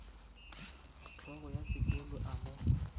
hlogo ya sekolo a mo